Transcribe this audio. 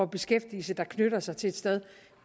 beskæftigelse der knytter sig til et sted